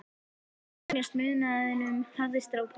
Eins gott að venjast munaðinum, hafði strákur